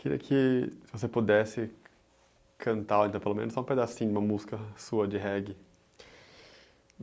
Queria que se você pudesse cantar, ou então, pelo menos só um pedacinho de uma música sua, de reggae.